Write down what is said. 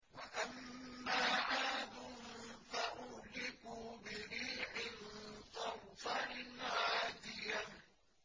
وَأَمَّا عَادٌ فَأُهْلِكُوا بِرِيحٍ صَرْصَرٍ عَاتِيَةٍ